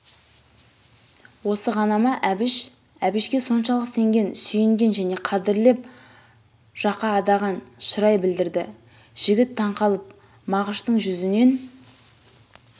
осы ғана ма әбіш әбішке соншалық сенген сүйінген және қадірлеп жақаадаған шырай білдірді жігіттаңқалып мағыштың жүзінен